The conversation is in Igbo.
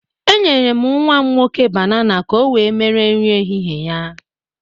Enyere m nnwa m nwoke banana ka o wee mere nri ehịhịe ya.